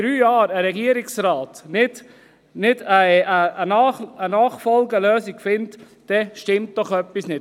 Wenn ein Regierungsrat in drei Jahren keine Nachfolgelösung findet, dann stimmt doch etwas nicht!